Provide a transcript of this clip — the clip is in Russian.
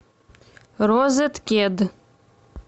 розеткед